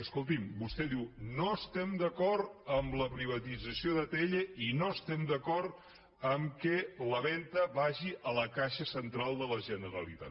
escolti’m vostè diu no estem d’acord amb la privatització d’atll i no estem d’acord en el fet que la venda vagi a la caixa central de la generalitat